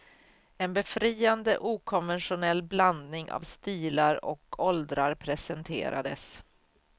En befriande okonventionell blandning av stilar och åldrar presenterades.